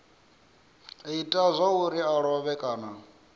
ita zwauri a lovhe kana